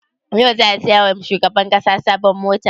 Yau za a saya wa shugaban ƙasa sabon mota?